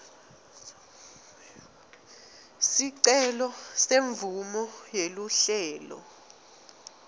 sicelo semvumo yeluhlelo